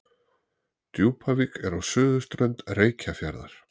Djúpavík er á suðurströnd Reykjarfjarðar.